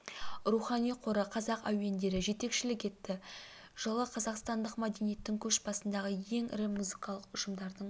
рухани қоры қазақ әуендері жетекшілік етті жылы қазақстандық мәдениеттің көш басындағы ең ірі музыкалық ұжымдардың